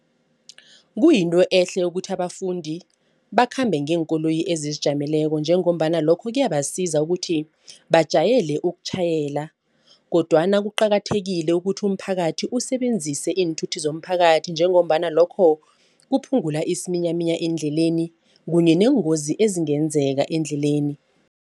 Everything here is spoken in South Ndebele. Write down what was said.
Kuyinto ehle ukuthi abafundi bakhambe ngeenkoloyi ezizijameleko njengombana lokho kuyabasiza ukuthi bajayele ukutjhayela kodwana kuqakathekile ukuthi umphakathi usebenzise iinthuthi zomphakathi njengombana lokho kuphungula isiminyaminya endleleni kunye neengozi ezingenzeka endleleni.